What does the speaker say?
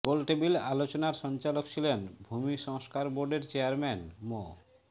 গোল table আলোচনার সঞ্চালক ছিলেন ভূমি সংস্কার বোর্ডের চেয়ারম্যান মো